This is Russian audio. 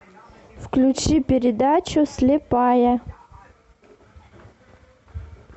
включи передачу слепая